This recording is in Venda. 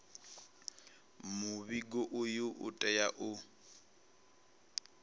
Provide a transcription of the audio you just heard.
muvhigo uyu u tea u